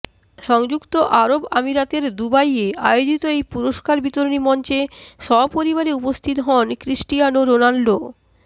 সংযুক্ত আরব আমিরাতের দুবাইয়ে আয়োজিত এই পুরস্কার বিতরণী মঞ্চে সপরিবারে উপস্থিত হন ক্রিস্টিয়ানো রোনালদো